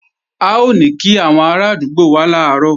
A ò ní kí àwọn arádúgbò wá làárọ̀